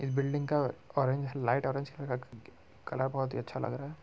इस बिल्डिंग का orange light orange colour बहुत ही अच्छा लग रहा है।